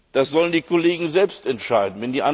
Das sollen die Kollegen selbst entscheiden.